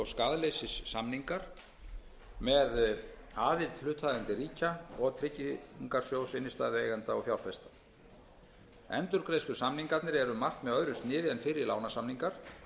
skaðleysissamningar með aðild hlutaðeigandi ríkja og tryggingarsjóðs innstæðueigenda og fjárfesta endurgreiðslusamningarnir eru um margt með öðru sniði en fyrri lánasamningar